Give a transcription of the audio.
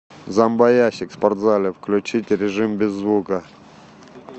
зомбоящик в спортзале включить режим без звука